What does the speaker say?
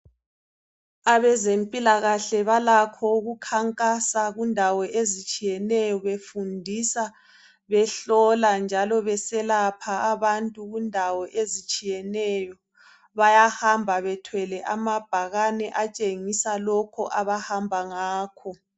Abezempilakahle balakho ukukhankasa kundawo ezitshiyeneyo befundisa behlola njalo beselapha abantu kundawo ezitshiyeneyo bahamba bethwele amabhakane atshengisa lokho abahamba ngakho.